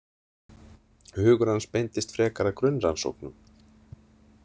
Hugur hans beindist frekar að grunnrannsóknum.